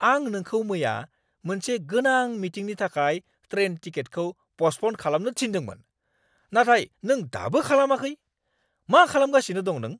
आं नोंखौ मैया मोनसे गोनां मिटिंनि थाखाय ट्रेन टिकेटखौ पस्टप'न खालामनो थिन्दोंमोन, नाथाय नों दाबो खालामाखै, मा खालामगासिनो दं नों?